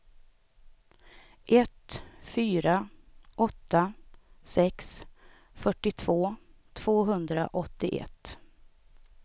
ett fyra åtta sex fyrtiotvå tvåhundraåttioett